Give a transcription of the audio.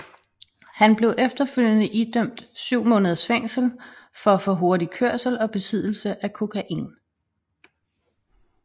Han blev efterfølgende idømt syv måneders fængsel for for hurtig kørsel og besiddelse af kokain